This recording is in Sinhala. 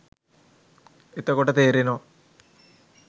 එතකොට තේරෙනවා